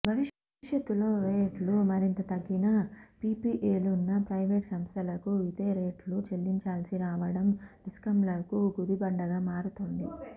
భవిష్యత్తులో రేట్లు మరింత తగ్గినా పీపీఏలున్న ప్రైవేట్ సంస్థలకు ఇదే రేట్లు చెల్లించాల్సి రావడం డిస్కమ్లకు గుదిబండగా మారుతోంది